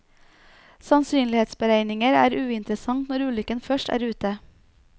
Sannsynlighetsberegninger er uinteressant når ulykken først er ute.